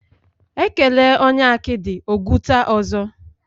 Ekele onye akidi, ogwuta ọzọ